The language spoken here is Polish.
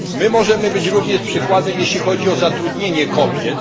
Możemy być również przykładem, jeśli chodzi o zatrudnienie kobiet.